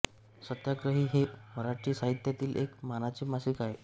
सत्याग्रही हे मराठी साहित्यातील एक मानाचे मासिक आहे